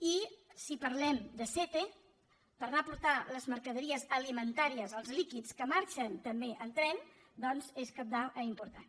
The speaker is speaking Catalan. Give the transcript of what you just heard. i si parlem de sète per anar a portar les mercaderies alimentàries els líquids que marxen també en tren doncs és cabdal i important